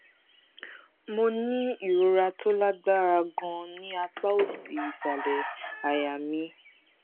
mò ń ní ìrora tó lágbára ganan ní apá òsì ìsàlẹ àyà mi